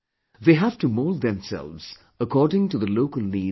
They have to mould themselves according to the local needs and environment